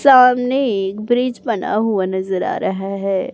सामने एक ब्रिज बना हुआ नजर आ रहा है।